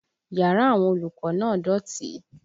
Yàrá àwọn olùkọ́ náà dọ̀tí